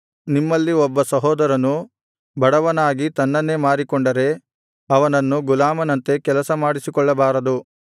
ನಿಮ್ಮಲ್ಲಿ ಒಬ್ಬ ಸಹೋದರನು ಬಡವನಾಗಿ ತನ್ನನ್ನೇ ಮಾರಿಕೊಂಡರೆ ಅವನನ್ನು ಗುಲಾಮನಂತೆ ಕೆಲಸ ಮಾಡಿಸಿಕೊಳ್ಳಬಾರದು